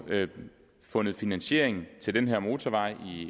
fundet finansiering til den her motorvej